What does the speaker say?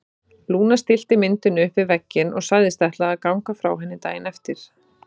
Lúna stillti myndinni upp við vegginn og sagðist ætla að ganga frá henni daginn eftir.